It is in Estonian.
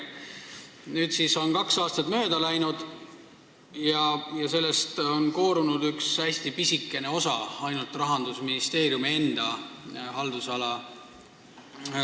Nüüdseks on kaks aastat mööda läinud ja sellest kõigest on koorunud üks hästi pisikene osa Rahandusministeeriumi enda haldusalas.